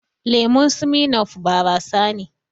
Lemun Smirnoff barasa ne